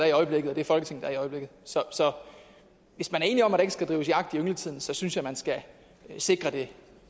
i øjeblikket og det folketing der er i øjeblikket så hvis man er enige om at der ikke skal drives jagt i yngletiden så synes jeg man skal sikre det